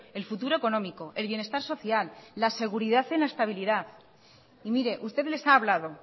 el futuro económico el bienestar social la seguridad en la estabilidad y mire usted les ha hablado